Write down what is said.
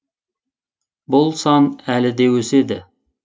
бұл сан әлі де өседі